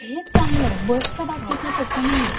हेच चांगलय बसच्या बाबतीत ना तस नाहीये. हो